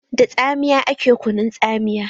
Da tsamiya ake kunun tsamiya.